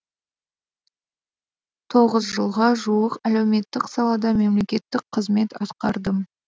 тоғыз жылға жуық әлеуметтік салада мемлекеттік қызмет атқардым